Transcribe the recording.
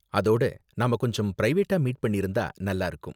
அதோட, நாம கொஞ்சம் பிரைவேட்டா மீட் பண்ணிருந்தா நல்லா இருக்கும்